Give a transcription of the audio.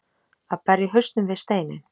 Að berja hausnum við steininn